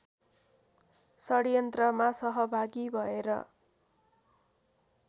षड्यन्त्रमा सहभागी भएर